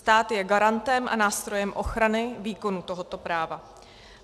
Stát je garantem a nástrojem ochrany výkonu tohoto práva.